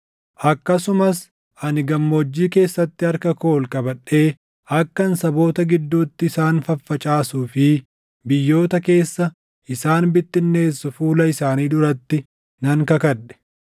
Akkasumas ani gammoojjii keessatti harka koo ol qabadhee akkan saboota gidduutti isaan faffacaasuu fi biyyoota keessa isaan bittinneessu fuula isaanii duratti nan kakadhe;